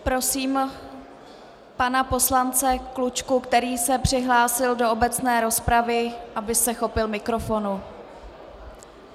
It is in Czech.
Prosím pana poslance Klučku, který se přihlásil do obecné rozpravy, aby se chopil mikrofonu.